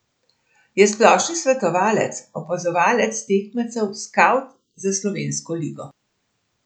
Je splošni svetovalec, opazovalec tekmecev, skavt za slovensko ligo.